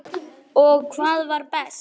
Og hvað var best.